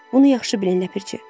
Bunu yaxşı bilin, ləpirçi.